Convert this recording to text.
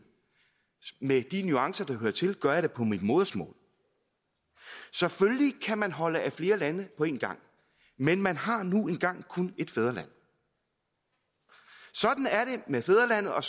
med de nuancer der hører til gør jeg det på mit modersmål selvfølgelig kan man holde af flere lande på en gang men man har nu engang kun ét fædreland sådan er det med fædrelandet og